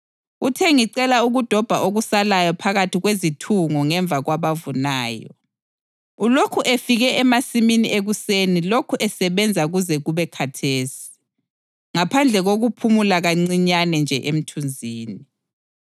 Uthe, ‘Ngicela ukudobha okusalayo phakathi kwezithungo ngemva kwabavunayo.’ Ulokhu efike emasimini ekuseni lokhu esebenza kuze kube khathesi, ngaphandle kokuphumula kancinyane nje emthunzini.”